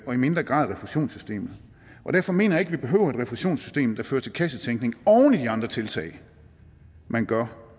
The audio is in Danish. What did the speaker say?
og i mindre grad refusionssystemet derfor mener ikke vi behøver et refusionssystem der fører til kassetænkning oven i de andre tiltag man gør